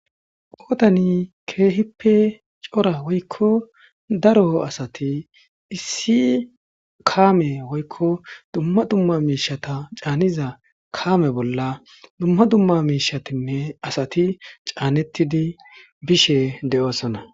Qoodani keehippe cora woykko daro asati issi kaame woykko dumma dumma miishata caaniza kaame bolla dumma dumma miishatinne asati caanettidi bishe de'oosona.